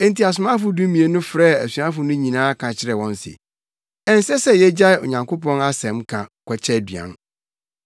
Enti asomafo dumien no frɛɛ asuafo no nyinaa ka kyerɛɛ wɔn se, “Ɛnsɛ sɛ yegyae Onyankopɔn asɛnka kɔkyɛ aduan.